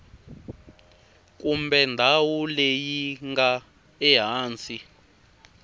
kumbe ndhawu leyi nga ehansi